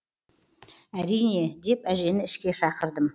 әрине деп әжені ішке шақырдым